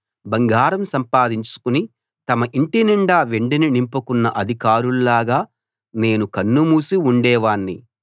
బంగారం సంపాదించుకుని తమ ఇంటినిండా వెండిని నింపుకున్న అధికారుల్లాగా నేను కన్నుమూసి ఉండేవాణ్ణి